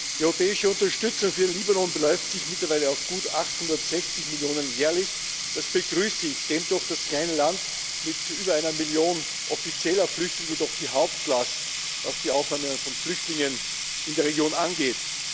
Die europäische Unterstützung für den Libanon beläuft sich mittlerweile auf gut 860 Millionen Euro jährlich. Das begrüße ich, stemmt doch das kleine Land mit über einer Million offizieller Flüchtlinge die Hauptlast, was die Aufnahme von Flüchtlingen in der Region angeht.